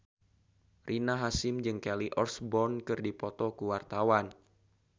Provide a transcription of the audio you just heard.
Rina Hasyim jeung Kelly Osbourne keur dipoto ku wartawan